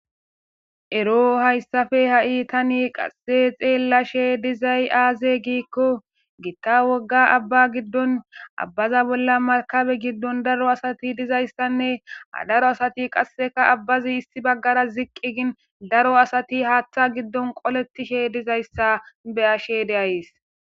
Ero hayssafe ha'i tani qasse xeellashe dizay aaze giikko gitta wogga abba giddon abbaza bolla makabe giddon daro asati dizayssanne ha daro asati qasseka abbazi issi baggara ziqqi gin daro asati haaththa giddon qoletishe dizayssa beyashe deays.